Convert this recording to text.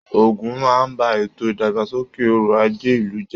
Ogún máa n bá ètò ìdàgbàsókè ọrọ àjé ìlú jẹ.